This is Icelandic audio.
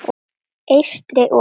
Eystri- og